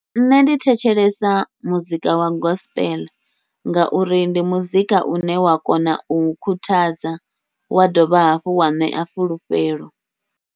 Nṋe ndi thetshelesa muzika wa gospel, ngauri ndi muzika une wa kona u khuthadza wa dovha hafhu wa ṋea fulufhelo.